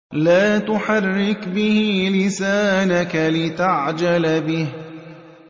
لَا تُحَرِّكْ بِهِ لِسَانَكَ لِتَعْجَلَ بِهِ